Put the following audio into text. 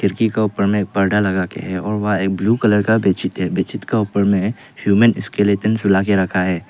खिड़की के ऊपर में पर्दा लगा के है और वहां ब्लू कलर का बेडशीट है बेडशीट के ऊपर ह्यूमन स्केलेटन सुला के रखा है।